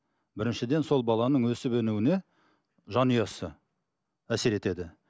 біріншіден сол баланың өсіп өнуіне жанұясы әсер етеді